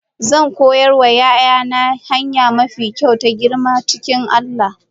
Zan koya wa 'ya'yana hanya mafi kyau ta girma cikin Allah.